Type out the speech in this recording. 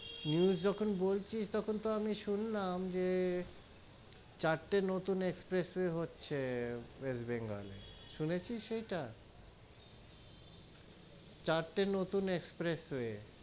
News যখন বলছিস, তখন তো আমি শুনলাম যে চারটে নতুন expressway হচ্ছে, ওয়েস্ট বেঙ্গল এ, শুনেছিস এটা, চারটে নতুন expressway.